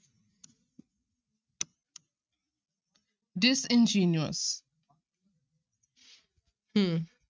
Disingenuous ਹਮ